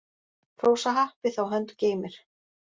Hrósa happi þá hönd geymir.